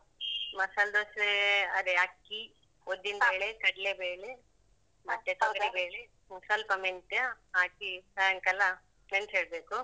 ಮಸಾಲ್ ದೋಸೆ ಅದೇ ಅಕ್ಕಿ. ಉದ್ದಿನ್ ಬೇಳೆ, ಕಡ್ಲೆ ಬೇಳೆ ಮತ್ತೆ ತೊಗರಿ ಬೇಳೆ, ಸ್ವಲ್ಪ ಮೆಂತ್ಯ ಹಾಕಿ ಸಾಯಂಕಾಲ ನೆನ್ಸಿ ಇಡ್ಬೇಕು